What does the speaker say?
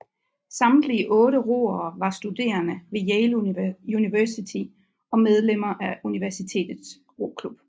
Samtlige otte roere var studerende ved Yale University og medlemmer af universitets roklub